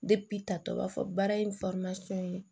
ta tɔ b'a fɔ baara in ye